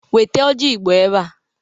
Wete ọjị igbo ebea!